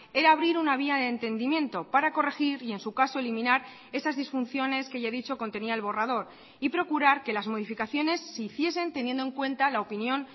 era abrir una vía de entendimiento para corregir y en su caso eliminar esas disfunciones que ya he dicho contenía el borrador y procurar que las modificaciones se hiciesen teniendo en cuenta la opinión